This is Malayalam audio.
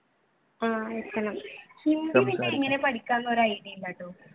ഹിന്ദി പിന്നെ എങ്ങനെയാ പഠിക്കുക എന്ന ഒരു idea ഇല്ലട്ടോ.